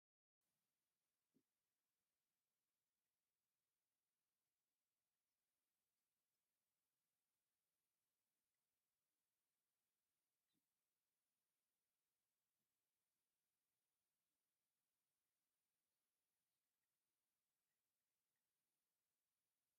መሰረታዊ ግልጋሎትወይ ልምዓት፦ ሰጥ ዝበለ ኣስፋት ብወሰን ወሰን ድማ ኣብ እዋን ክረምቲ ምድሪ ሓምለዋይ ለቢሳ ደስ ዝብል እዩ ዘሎ። ኣስፋት ምስርሑ ንተሽከርከር ካብ ሓደጋ ይኸላከል እዩ።